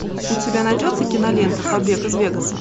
у тебя найдется кинолента побег из вегаса